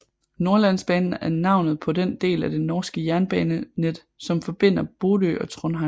Nordlandsbanen er navnet på den del af det norske jernbanenet som forbinder Bodø og Trondheim